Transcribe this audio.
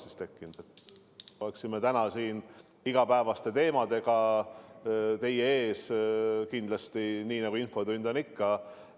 Siis me oleksime täna siin igapäevaste teemadega teie ees, nii nagu infotund ikka on.